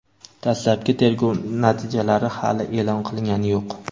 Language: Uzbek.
Dastlabki tergov natijalari hali eʼlon qilingani yo‘q.